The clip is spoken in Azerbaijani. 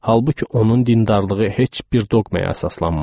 Halbuki onun dindarlığı heç bir doqmaya əsaslanmazdı.